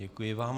Děkuji vám.